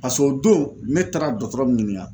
Pasek' o don ne taara dɔgɔtɔrɔ nunnu ɲininka.